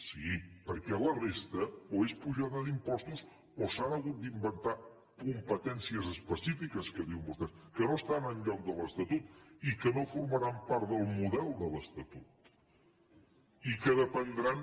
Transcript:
sí perquè la resta o és apujada d’impostos o s’han hagut d’inventar competències específiques que diuen vostès que no estan enlloc de l’estatut i que no formaran part del model de l’estatut i que dependran